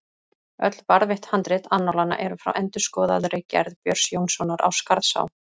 Öll varðveitt handrit annálanna eru frá endurskoðaðri gerð Björns Jónssonar á Skarðsá.